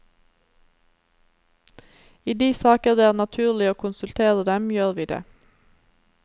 I de saker det er naturlig å konsultere dem, gjør vi det.